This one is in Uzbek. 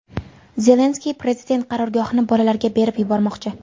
Zelenskiy prezident qarorgohini bolalarga berib yubormoqchi.